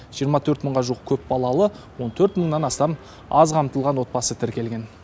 жирыма төрт мыңға жуық көпбалалы он төрт мыңнан астам аз қамтылған отбасы тіркелген